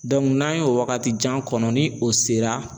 n'an y'o wagatijan kɔnɔ ni o sera